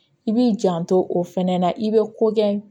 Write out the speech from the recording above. I b'i janto o fɛnɛ na i bɛ ko kɛ